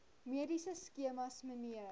mediese skemas mnr